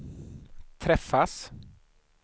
träffas